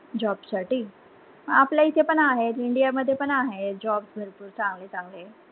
job साठी आपल्या इथे पण आहेत इंडिया मध्ये पण आहेत jobs भरपूर चांगले चांगले.